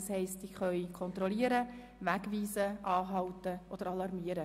Das heisst, sie können kontrollieren, wegweisen, anhalten oder alarmieren.